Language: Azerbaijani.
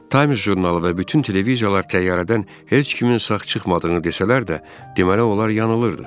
Times jurnalı və bütün televiziyalar təyyarədən heç kimin sağ çıxmadığını desələr də, deməli onlar yanılırdı.